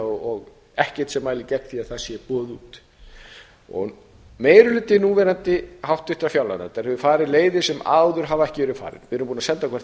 og ekkert sem mælir gegn því að það sé boðið út meiri hluti háttvirtrar núverandi fjárlaganefndar hafa farið leiðir sem áður hafa ekki verið farnar við erum búnir að senda hvert